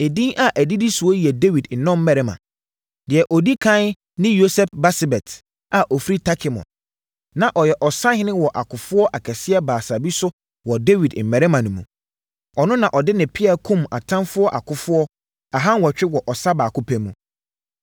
Edin a ɛdidi soɔ yi yɛ Dawid nnɔmmarima: Deɛ ɔdi ɛkan ne Yoseb-Basebet a ɔfiri Tahkemon, na ɔyɛ ɔsahene wɔ akofoɔ akɛseɛ Baasa bi so wɔ Dawid mmarima no mu. Ɔno na ɔde ne pea kumm atamfoɔ akofoɔ aha nwɔtwe wɔ ɔsa baako pɛ mu.